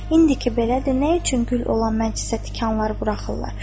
İndi ki, belədir, nə üçün gül olan mənə cəsə tikanlar buraxırlar?